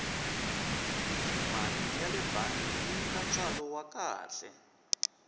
mali yale bangi yi nyika ntswalo wa kahle